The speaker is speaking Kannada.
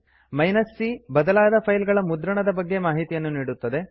C ಬದಲಾದ ಫೈಲ್ಗಳ ಮುದ್ರಣದ ಬಗ್ಗೆ ಮಾಹಿತಿಯನ್ನು ನೀಡುತ್ತದೆ